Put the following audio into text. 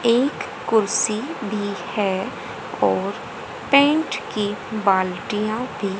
एक कुर्सी भी है और पेंट की बाल्टियां भी--